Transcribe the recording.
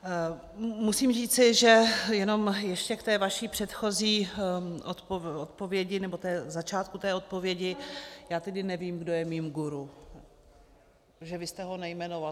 Musím říci, že jenom ještě k té vaší předchozí odpovědi, nebo začátku té odpovědi, já tedy nevím, kdo je mým guru, protože vy jste ho nejmenoval.